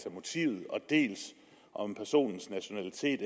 af motivet dels om personens nationalitet